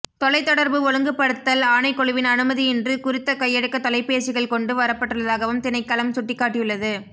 தொலைத் தொடர்பு ஒழுங்குப்படுத்தல் ஆணைக்குழுவின் அனுமதியின்றி குறித்த கையடக்க தொலைபேசிகள் கொண்டு வரப்பட்டுள்ளதாகவும் திணைக்களம் சுட்டிக்காட்டியுள்ளது